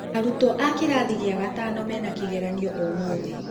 Arutwo a kĩrathi gĩa gatano mena kĩgeranĩo ũmũthi.